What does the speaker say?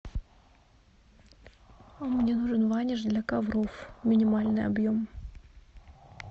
мне нужен ваниш для ковров минимальный объем